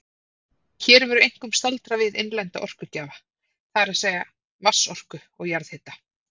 Hér verður einkum staldrað við innlenda orkugjafa, það er að segja vatnsorku og jarðhita.